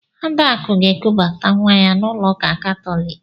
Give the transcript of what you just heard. Adakụ ga-ekubata nwa ya n'ụlọ ụka Katọliki.